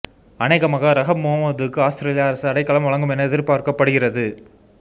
அனேகமாக ரஹப் முகமதுவுக்கு ஆஸ்திரேலிய அரசு அடைக்கலம் வழங்கும் என எதிர்பார்க்கப்படுகிறது